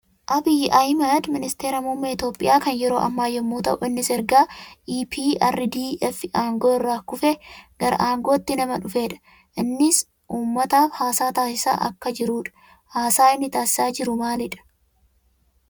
Abiyyi Ahimad ministeera muummee Itooohiyaa kan yeroo ammaa yammuu tahuu; innis erga EPRDF aangoo irraa kufe gara aangootti nama dhufee dha. Innis uummataaf haasaa taasisaa akka jiruu dha. Haasaa inni taasisaa jiru maalii dha?